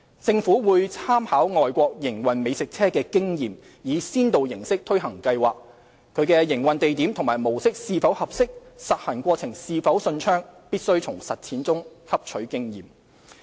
政府會參考外國營運美食車的經驗，以先導形式推行計劃，其營運地點和模式是否合適，實行過程是否順暢，必須從實踐上汲取經驗。